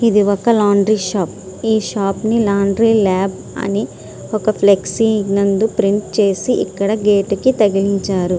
ఇది ఒక laundry shop . ఈ షాప్ ని లాండ్రి ల్యాబ్ అని ఒక ఫ్లెక్సీ నందు ప్రింట్ చేసి ఇక్కడ గేట్ కు తగిలించారు